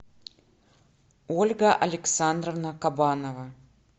ольга александровна кабанова